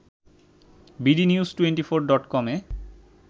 bdnews twenty four ডটকমে